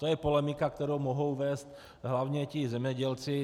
To je polemika, kterou mohou vést hlavně ti zemědělci.